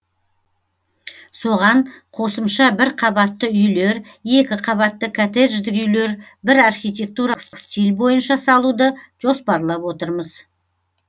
соған қосымша бір қабатты үйлер екі қабатты коттеждік үйлер бір архитектуралық стиль бойынша салуды жоспарлап отырмыз